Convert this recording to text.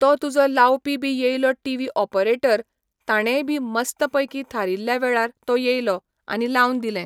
तो तुजो लावपी बी येयलो टिवी ऑपरेटर ताणेंय बी मस्त पैकी थारिल्ल्या वेळार तो येयलो आनी लावन दिलें.